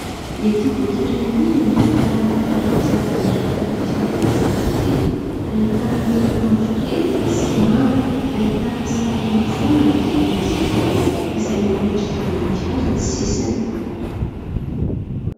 Ity boky iray ity dia mitantara ny tantaram-pitiavana rehetra rehetra avy amin' ny mpifankatia. Ahitana loko mavokely sy manga. Ahitana sarina fo manodidina azy ireo izay miendrika voninkazo ny sisiny.